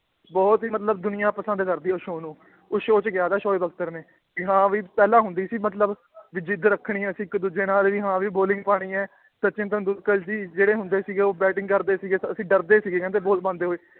ਬਹੁਤ ਹੀ ਮਤਲਬ ਦੁਨੀਆਂ ਪਸੰਦ ਕਰਦੀ ਹੈ ਉਸ show ਨੂੰ ਉਸ show 'ਚ ਕਿਹਾ ਥਾ ਸੋਏ ਬਖ਼ਤਰ ਨੇ ਵੀ ਹਾਂ ਵੀ ਪਹਿਲਾਂ ਹੁੰਦੀ ਸੀ ਮਤਲਬ ਵੀ ਜਿੱਦ ਰੱਖਣੀ ਅਸੀਂ ਇੱਕ ਦੂਜੇ ਨਾਲ ਵੀ ਹਾਂ ਵੀ bowling ਪਾਉਣੀ ਹੈ ਸਚਿਨ ਤੈਂਦੁਲਕਰ ਜੀ ਜਿਹੜੇ ਹੁੰਦੇ ਸੀਗੇ ਉਹ batting ਕਰਦੇ ਸੀਗੇ ਅਸੀਂ ਡਰਦੇ ਸੀਗੇ ਕਹਿੰਦੇ ਬਾਲ ਪਾਉਂਦੇ ਹੋਏ